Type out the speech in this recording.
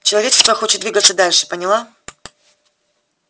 человечество хочет двигаться дальше поняла